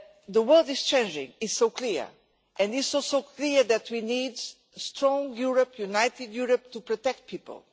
The world is changing, it is so clear, and it is also clear that we need a strong Europe, a united Europe, to protect people.